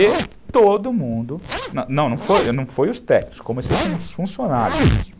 E todo mundo, não foi foi os técnicos, comecei com os funcionários mesmo.